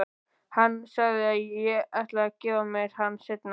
Hann sagðist ætla að gefa mér hann seinna.